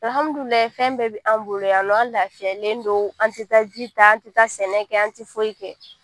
fɛn bɛɛ bɛ anw bolo yan nɔ an lafiyalen don an tɛ ji ta an tɛ sɛnɛ kɛ an tɛ foyi kɛ